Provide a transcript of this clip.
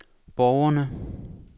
borgerne